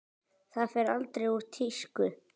Það fer aldrei úr tísku.